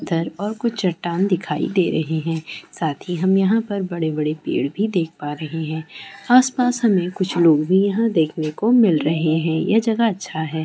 और कुछ चट्टान दिखाई दे रहे है साथ ही हम यहापर बड़े बड़े पेड़ भी देख पा रहे है आसपास हमे कुछ लोग भी यहाँ देखने को मिल रहे है यह जगह अच्छा है|